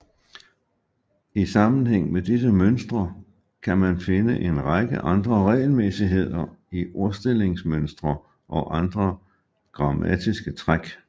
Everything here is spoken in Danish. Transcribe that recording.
I sammenhæng med disse mønstre kan man finde en række andre regelmæssigheder i ordstillingsmønstre og andre grammatiske træk